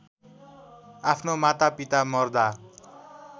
आफ्नो मातापिता मर्दा